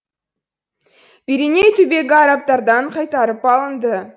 пиреней түбегі арабтардан қайтарып алынды